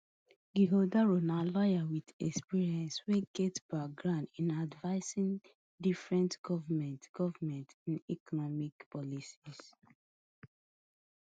ighodalo na lawyer with experience wey get background in advising different govments govments on economic policies